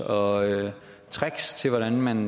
og tricks til hvordan man